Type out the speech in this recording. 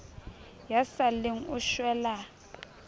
ya sa lleng o shwela